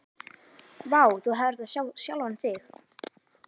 Vá, þú hefðir átt að sjá sjálfan þig.